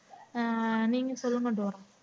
அஹ் நீங்க சொல்லுங்க டோரா